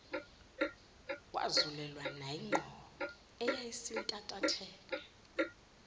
wazulelwa nayingqondo eyayisintantatheka